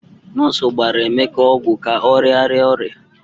Nọọsụ gbara Emeka ọgwụ ka ọ rịara ọrịa.